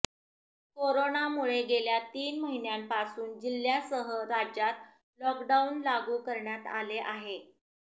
कोरोनामुळे गेल्या तीन महिन्यांपासून जिल्ह्यासह राज्यात लॉकडाऊन लागू करण्यात आले आहे